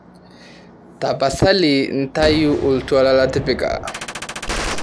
tapasali ntayu oltuala latipika